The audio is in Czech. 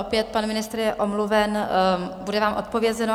Opět pan ministr je omluven, bude vám odpovězeno.